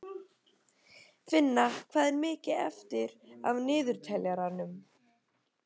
Finna, hvað er mikið eftir af niðurteljaranum?